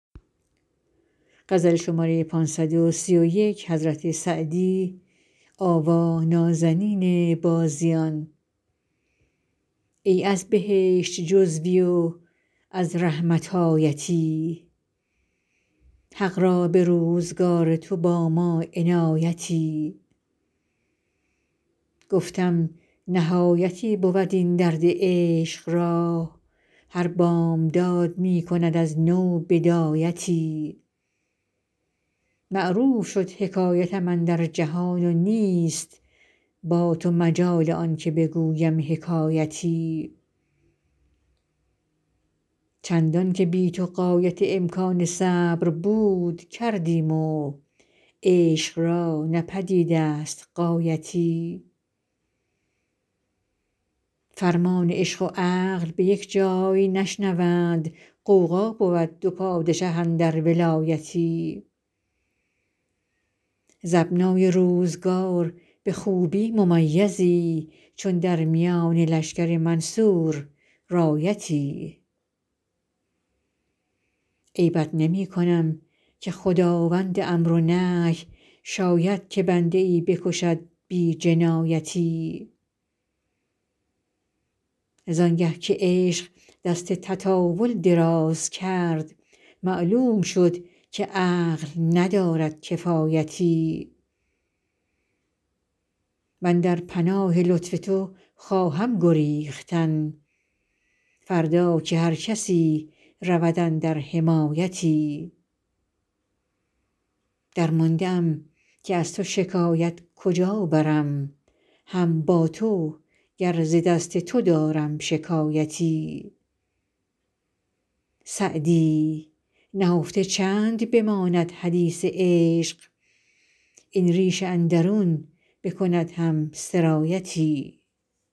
ای از بهشت جزوی و از رحمت آیتی حق را به روزگار تو با ما عنایتی گفتم نهایتی بود این درد عشق را هر بامداد می کند از نو بدایتی معروف شد حکایتم اندر جهان و نیست با تو مجال آن که بگویم حکایتی چندان که بی تو غایت امکان صبر بود کردیم و عشق را نه پدید است غایتی فرمان عشق و عقل به یک جای نشنوند غوغا بود دو پادشه اندر ولایتی ز ابنای روزگار به خوبی ممیزی چون در میان لشکر منصور رایتی عیبت نمی کنم که خداوند امر و نهی شاید که بنده ای بکشد بی جنایتی زان گه که عشق دست تطاول دراز کرد معلوم شد که عقل ندارد کفایتی من در پناه لطف تو خواهم گریختن فردا که هر کسی رود اندر حمایتی درمانده ام که از تو شکایت کجا برم هم با تو گر ز دست تو دارم شکایتی سعدی نهفته چند بماند حدیث عشق این ریش اندرون بکند هم سرایتی